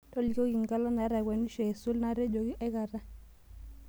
tolikioki nkala naitakwenisho aisul naatejoki aikata